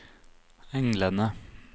englene